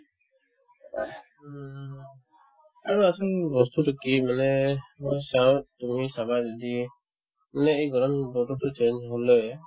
উম, আৰু আচৰিত বস্তুতো কি মানে মই চাও তুমি চাবা যদি যোনে এই গৰম বতৰতোত change হ'লে